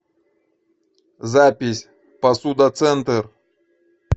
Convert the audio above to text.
запись посуда центр